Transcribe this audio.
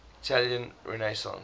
italian renaissance